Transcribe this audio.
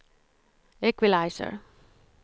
equalizer